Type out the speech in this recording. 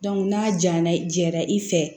n'a jaɲa i jɛra i fɛ